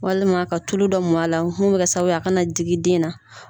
Walima ka tulu dɔ mɔn a la mun bɛ kɛ sababu ye a kana digi den na.